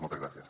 moltes gràcies